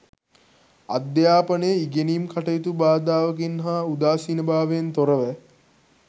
අධ්‍යාපනය ඉගෙනීම් කටයුතු බාධාවකින් හා උදාසීනභාවයෙන් තොරව